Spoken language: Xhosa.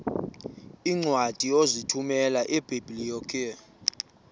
iincwadi ozithumela ebiblecor